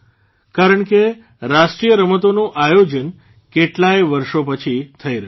કેમ કે રાષ્ટ્રીય રમતોનું આયોજન કેટલાય વર્ષો પછી થઇ રહ્યું છે